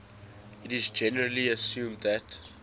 it is generally assumed that